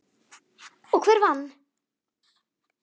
Og hver vann?